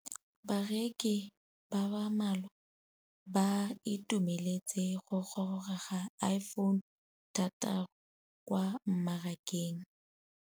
Bareki ba ba malwa ba ituemeletse go gôrôga ga Iphone6 kwa mmarakeng.